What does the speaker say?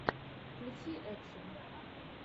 включи экшн